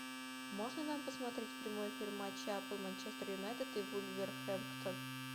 можно нам посмотреть прямой эфир матча апл манчестер юнайтед и вулверхэмптон